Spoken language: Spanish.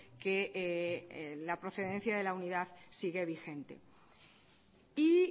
que la procedencia de la unidad sigue vigente y